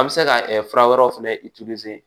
An bɛ se ka fura wɛrɛw fɛnɛ